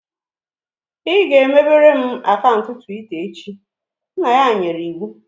"Ị ga-emebere m akaụntụ Twitta echi" nna ya nyere iwu